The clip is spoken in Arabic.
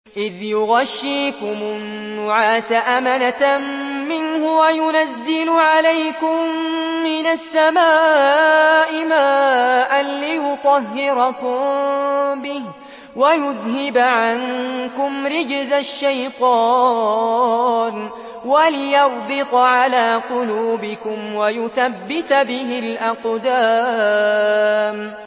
إِذْ يُغَشِّيكُمُ النُّعَاسَ أَمَنَةً مِّنْهُ وَيُنَزِّلُ عَلَيْكُم مِّنَ السَّمَاءِ مَاءً لِّيُطَهِّرَكُم بِهِ وَيُذْهِبَ عَنكُمْ رِجْزَ الشَّيْطَانِ وَلِيَرْبِطَ عَلَىٰ قُلُوبِكُمْ وَيُثَبِّتَ بِهِ الْأَقْدَامَ